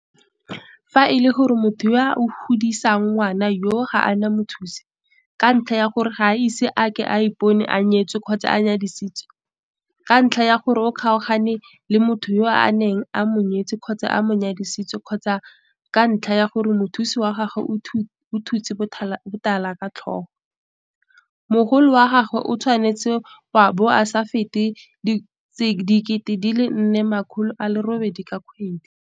Fa e le gore motho yo a godisang ngwana yoo ga a na mothusi, ka ntlha ya gore ga a ise a ke a ipone a nyetse kgotsa a nyadisitswe, ka ntlha ya gore o kgaogane le motho yo a neng a mo nyetse kgotsa a mo nyadisitswe kgotsa ka ntlha ya gore mothusi wa gagwe o thutse botala ka tlhogo, mogolo wa gagwe o tshwanetse wa bo o sa fete R4 800 ka kgwedi.